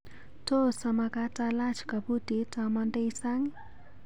Tos amakat alach kabutit amandai sang?